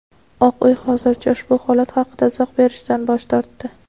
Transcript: Oq uy hozircha ushbu holat haqida izoh berishdan bosh tortdi.